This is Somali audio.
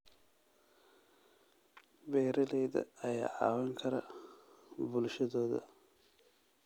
Beeralayda ayaa caawin kara bulshadooda.